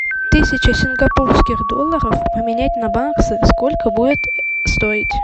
тысяча сингапурских долларов поменять на баксы сколько будет стоить